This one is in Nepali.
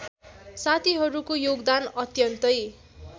साथीहरूको योगदान अत्यन्तै